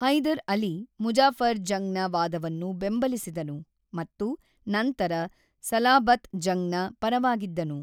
ಹೈದರ್ ಅಲಿ ಮುಜಾಫರ್ ಜಂಗ್ ನ ವಾದವನ್ನು ಬೆಂಬಲಿಸಿದನು ಮತ್ತು ನಂತರ ಸಲಾಬತ್ ಜಂಗ್ ನ ಪರವಾಗಿದ್ದನು.